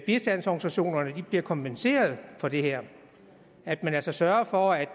bistandsorganisationerne bliver kompenseret for det her at man altså sørger for at